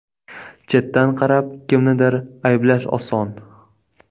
Chetdan qarab, kimnidir ayblash oson.